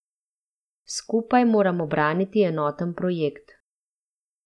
Skupaj moramo braniti enoten projekt.